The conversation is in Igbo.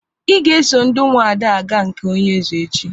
Ị ga-eso ndị Ụmụada aga na nke onye eze echi!